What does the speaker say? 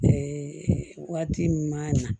waati min ma na